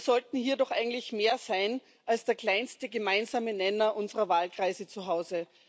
Wir sollten hier doch eigentlich mehr sein als der kleinste gemeinsame Nenner unserer Wahlkreise zu Hause.